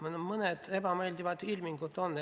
On mõned ebameeldivad ilmingud.